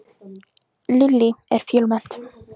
Lillý, er fjölmennt?